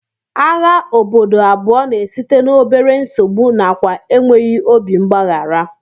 Agha obodo abụọ na-esite n'obere nsogbu nakwa enweghị obi mgbaghara